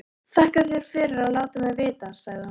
Þakka þér fyrir að láta mig vita, sagði hún.